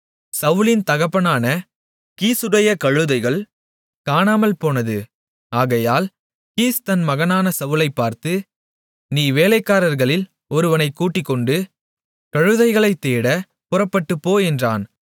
சவுலின் தகப்பனான கீசுடைய கழுதைகள் காணாமல்போனது ஆகையால் கீஸ் தன் மகனான சவுலைப் பார்த்து நீ வேலைக்காரர்களில் ஒருவனைக் கூட்டிக்கொண்டு கழுதைகளைத் தேட புறப்பட்டுப்போ என்றான்